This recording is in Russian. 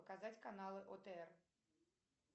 показать каналы отр